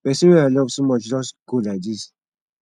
pesin wey i love so much just go like this